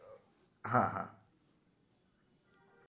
હા હા